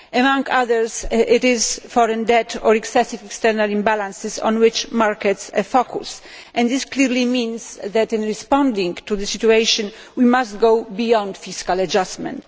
Among other things, it is foreign debt or excessive external imbalances on which markets have focused, and this clearly means that in responding to the situation, we must go beyond fiscal adjustment.